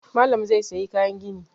Malam zai sayi kayan gini